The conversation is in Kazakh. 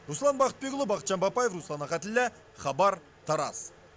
руслан бақытбекұлы бақытжан бапаев руслан ахатіллә хабар тараз